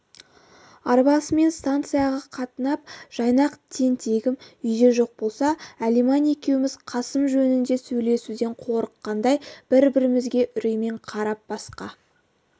арбасымен станцияға қатынап жайнақ тентегім үйде жоқ болса алиман екеуміз қасым жөнінде сөйлесуден қорыққандай бір-бірімізге үреймен қарап басқа